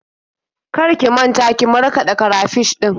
Kar ki manta ki markaɗa karafish ɗin.